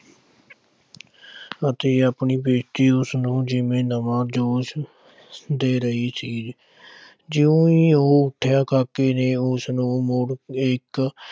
ਅਤੇ ਆਪਣੀ ਬੇਇਜ਼ਤੀ ਉਸਨੂੰ ਜਿਵੇਂ ਨਵਾਂ ਜੋਸ਼ ਦੇ ਰਹੀ ਸੀ ਜਿਉਂ ਹੀ ਉਹ ਉੱਠਿਆ ਕਾਕੇ ਨੇ ਉਸਨੂੰ ਮੁੜ ਇੱਕ